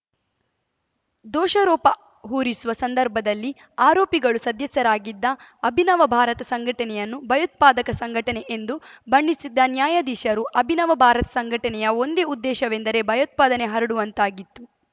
ದೋಷಾರೋಪ ಹೂರಿಸುವ ಸಂದರ್ಭದಲ್ಲಿ ಆರೋಪಿಗಳು ಸದಸ್ಯರಾಗಿದ್ದ ಅಭಿನವ ಭಾರತ ಸಂಘಟನೆಯನ್ನು ಭಯೋತ್ಪಾದಕ ಸಂಘಟನೆ ಎಂದು ಬಣ್ಣಿಸಿದ್ದ ನ್ಯಾಯಾಧೀಶರು ಅಭಿನವ ಭಾರತ ಸಂಘಟನೆಯ ಒಂದೇ ಉದ್ದೇಶವೆಂದರೆ ಭಯೋತ್ಪಾದನೆ ಹರಡುವಂತಾಗಿತ್ತು